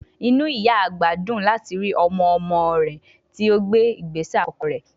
Inú ìyá àgbà dùn láti rí ọmọ-ọmọ tí ó gbé ìgbésẹ̀ àkọ́kọ́ rẹ̀